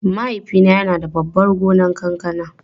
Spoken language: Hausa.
Mahaifina yana da babban gonar kankana.